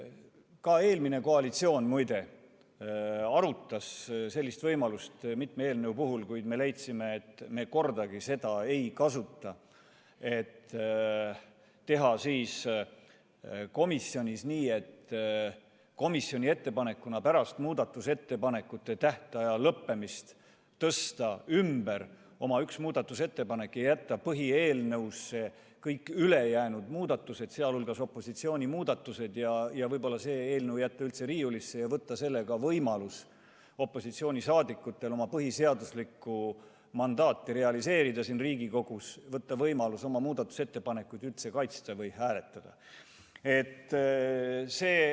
Ka eelmine koalitsioon, muide, arutas sellist võimalust mitme eelnõu puhul, kuid me leidsime, et me kordagi seda ei kasuta, ei tee komisjonis nii, et tõsta komisjoni ettepanekuna pärast muudatusettepanekute esitamise tähtaja lõppemist oma üks muudatusettepanek ümber ja jätta kõik ülejäänud muudatused, sh opositsiooni muudatused, põhieelnõusse ja võib-olla jätta see eelnõu üldse riiulisse ja võtta niiviisi opositsioonilt võimalus oma põhiseaduslikku mandaati realiseerida, võtta võimalus siin Riigikogus oma muudatusettepanekuid kaitsta ja hääletada.